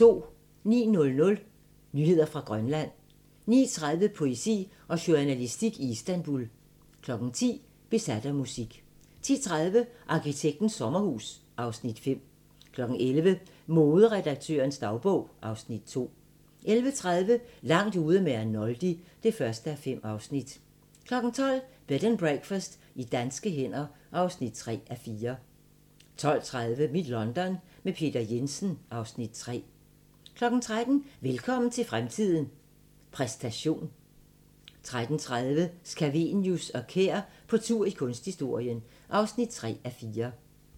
09:00: Nyheder fra Grønland 09:30: Poesi og journalistik i Istanbul 10:00: Besat af musik 10:30: Arkitektens sommerhus (Afs. 5) 11:00: Moderedaktørens dagbog (Afs. 2) 11:30: Langt ude med Arnoldi (1:5) 12:00: Bed and Breakfast i danske hænder (3:4) 12:30: Mit London – med Peter Jensen (Afs. 3) 13:00: Velkommen til fremtiden – præstation 13:30: Scavenius og Kær på tur i kunsthistorien (3:4)